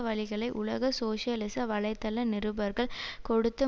வழிகளை உலக சோசியலிச வலைத்தள நிருபர்கள் கொடுத்து